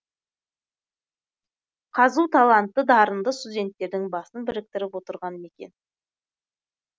қазұу талантты дарынды студенттердің басын біріктіріп отырған мекен